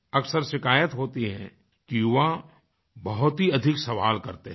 अक्सर शिकायत होती है कि युवा बहुत ही अधिक सवाल करते हैं